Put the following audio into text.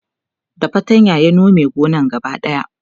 da fatanya ya Nome gonan gaba daya